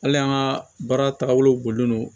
Hali an ka baara tagabolo don